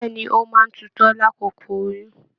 Bẹ̀ẹ́ni, o máa n tutọ l'akoko oyún.